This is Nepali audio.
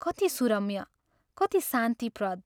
कति सुरम्य, कति शान्तिप्रद!